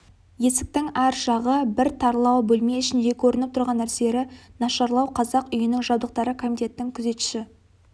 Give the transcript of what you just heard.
есіктің ар жағы бір тарлау бөлме ішіндегі көрініп тұрған нәрселері нашарлау қазақ үйінің жабдықтары комитеттің күзетші